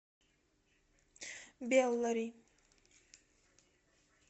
беллари